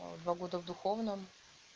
два года в духовном